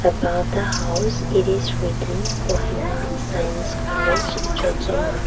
above the house it is written kohima science college jotsoma.